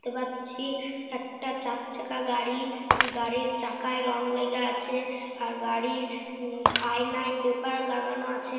দেখতে পাচ্ছি একটা চার চাকা গাড়ি। গাড়ির চাকায় রং লেগে আছে আর গাড়ির উম আয়নায় পেপার লাগানো আছে।